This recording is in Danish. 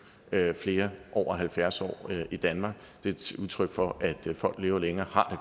flere over halvfjerds år i danmark det er et udtryk for at folk lever længere og har